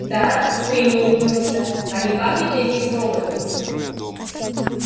да куинн улыбнулся а не пахнет ли здесь роботом